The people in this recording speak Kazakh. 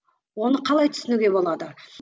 оны қалай түсінуге болады